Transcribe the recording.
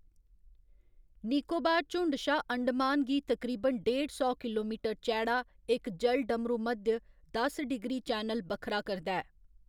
निकोबार झुण्ड शा अंडमान गी तकरीबन डेढ़ सौ किलोमीटर चैड़ा इक जलडमरूमध्य, दस डिग्री चैनल, बक्खरा करदा ऐ।